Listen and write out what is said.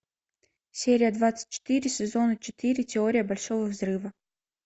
серия двадцать четыре сезона четыре теория большого взрыва